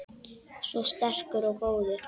Svo sterkur og góður.